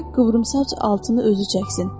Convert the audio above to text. Qoy qıvrımsaç altını özü çəksin.